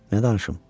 Nə danışım?